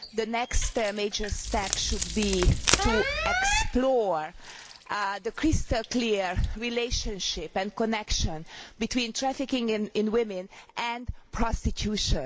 The next major step should be to explore the crystal clear relationship and connection between trafficking in women and prostitution.